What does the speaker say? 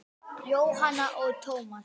Jóhanna og Tómas.